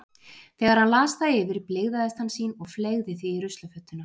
Þegar hann las það yfir blygðaðist hann sín og fleygði því í ruslafötuna.